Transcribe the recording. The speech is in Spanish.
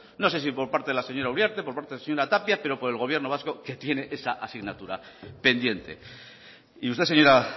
no sé si por parte de la señora uriarte por parte de la señora tapia pero por el gobierno vasco que tiene esa asignatura pendiente y usted señora